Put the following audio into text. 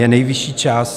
Je nejvyšší čas.